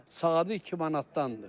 Saatı 2 manatdandır.